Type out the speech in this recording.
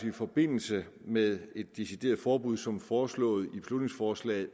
i forbindelse med et decideret forbud som foreslået i beslutningsforslaget